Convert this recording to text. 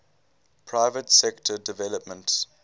private sector development